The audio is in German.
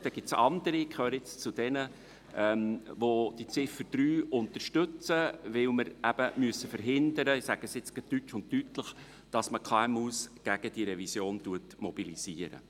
Dann gibt es andere Mitglieder – ich gehöre zu diesen –, welche die Ziffer 3 unterstützen, weil wir eben verhindern müssen – ich sage es nun gerade deutsch und deutlich –, dass man die KMU gegen diese Revision mobilisiert.